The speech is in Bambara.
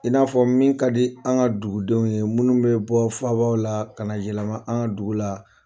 I n'a fɔ min ka di an ka dugudenw ye minnu bɛ bɔ faabaw la ka na yɛlɛma an ka dugu la.